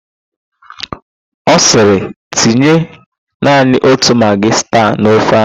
Ọ sịrị, "tinye naanị otu magị sta n'ofe ahụ"!